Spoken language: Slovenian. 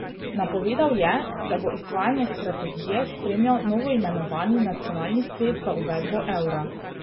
Napovedal je, da bo izvajanje strategije spremljal novoimenovani nacionalni svet za uvedbo evra.